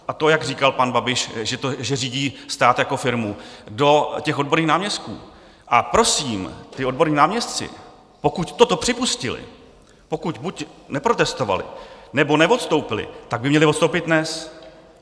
A to, jak říkal pan Babiš, že řídí stát jako firmu do těch odborných náměstků, a prosím, ti odborní náměstci, pokud toto připustili, pokud buď neprotestovali, nebo neodstoupili, tak by měli odstoupit dnes.